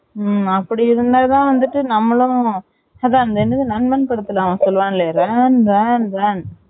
ம்ம அப்படி இருந்தா தான் வந்துட்டு நம்மளும் அது என்னது நண்பன் படத்துல அவன் சொல்லுவனே ran ran ran